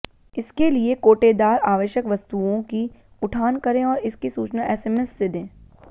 इसके लिए कोटेदार आवश्यक वस्तुओं की उठान करें और इसकी सूचना एसएमएस से दें